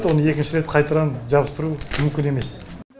оны екінші рет қайтадан жабыстыру мүмкін емес